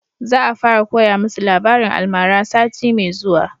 Za a fara koya musu labarin almara sati mai zuwa